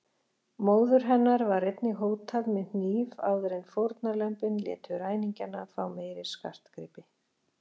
Móður hennar var einnig hótað með hníf áður en fórnarlömbin létu ræningjana fá meiri skartgripi.